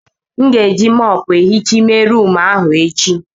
M ga-eji mọpu ehicha ime rumụ ahụ echi.